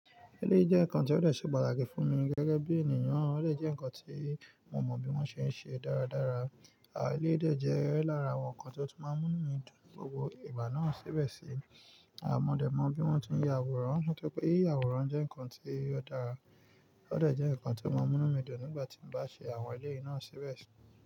Eléyi jẹ́ ǹkan tí ó de se pàtàkì fún mi gẹ́gẹ́ bí ènìyàn, ó dọ̀ jẹ́ ǹkan tí mo mọ̀ bí wọ́n ṣe ń ṣe dáradára. Àn eléyì de jẹ́ lára àwọn nkan tí ó tún máa ń mú mí dùn ní gbogbo ìgbà náà síbẹ̀ sí. Àmọ́ dẹ̀ mọ bí wọ́n ti ń ya àwòrán, ṣọ́ pé ìyà àwòrán jẹ́ ǹkan tí ó dára, ó de jẹ́ ǹkan tí ó máa ń mú inu mí dùn nígbà tí mo bá ṣe àwọn eléyìvnáà síbẹ̀ sí.